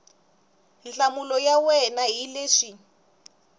nhlamulo ya wena hi leswi